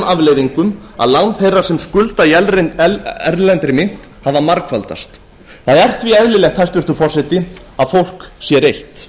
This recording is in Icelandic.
afleiðingum að lán þeirra sem skulda í erlendri mynt hafa margfaldast það er því eðlilegt hæstvirtur forseti að fólk sé reitt